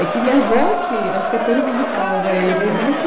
É que minha avó aqui, acho que atormentava ele, né?